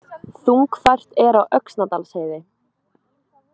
Þungfært er á Öxnadalsheiði